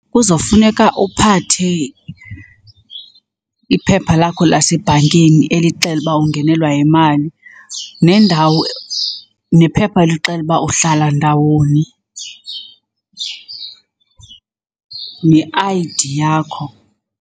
Kuzofuneka uphathe iphepha lakho lasebhankeni elixela uba ungenelwa yimali nendawo, nephepha elixela uba uhlala ndawoni ne-I_D yakho.